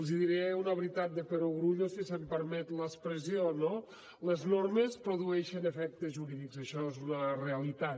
els diré una veritat de perogrullo si se’m permet l’expressió no les normes produeixen efectes jurídics això és una realitat